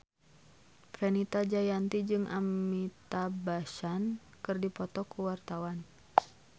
Fenita Jayanti jeung Amitabh Bachchan keur dipoto ku wartawan